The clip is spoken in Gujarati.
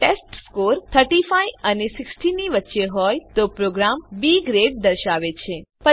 જો ટેસ્ટસ્કોર ૩૫ અને ૬૦ ની વચ્ચે હોય તો પ્રોગ્રામ બી ગ્રેડ દર્શાવે છે